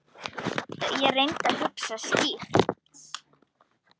Ég reyndi að hugsa skýrt.